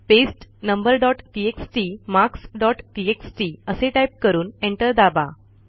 paste number dot TXT marks dot TXT असे type करून enter दाबा